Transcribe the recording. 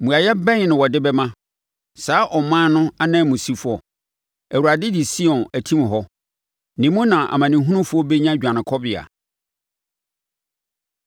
Mmuaeɛ bɛn na wɔde bɛma saa ɔman no ananmusifoɔ? “ Awurade de Sion atim hɔ. Ne mu na nʼamanehunufoɔ bɛnya dwanekɔbea.”